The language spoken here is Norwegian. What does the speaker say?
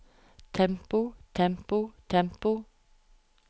tempo tempo tempo